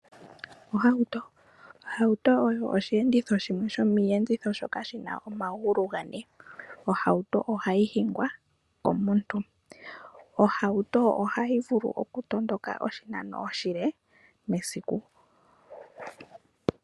Ohauto. Ohauto oyo osheenditho shimwe shomiiyenditho shoka shina omagulu gane. Ohauto ohayi hingwa komuntu. Ohauto ohayi vulu okutondoka oshinano oshile mesiku.